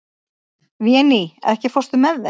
Véný, ekki fórstu með þeim?